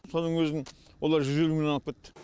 соның өзін олар жүз елу мыңнан алып кетті